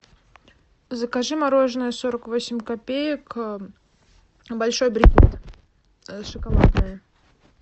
закажи мороженое сорок восемь копеек большой брикет шоколадное